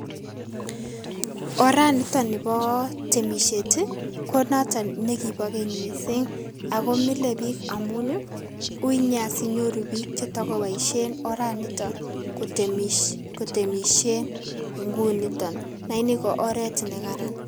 Oranito nipo temisiet konoto nekipo keny missing akomile biik amun uinia sinyoru biik chetokoboisien oranito kotemisien ingunito lakini ko oret nekaran.